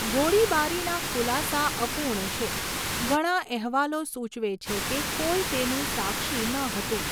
ગોળીબારીના ખુલાસા અપૂર્ણ છે, ઘણા અહેવાલો સૂચવે છે કે કોઈ તેનું સાક્ષી ન હતું.